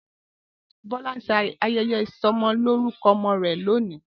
Bola n se ayeye isomoloruko omo re lonii.